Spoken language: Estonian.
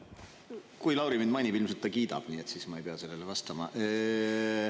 Kui Lauri mind mainib, ilmselt ta kiidab, nii et siis ma ei pea sellele vastama.